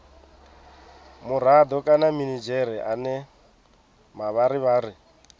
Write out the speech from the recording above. murado kana minidzhere ane mavharivhari